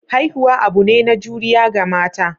Haihuwa abune na juriya ga mata.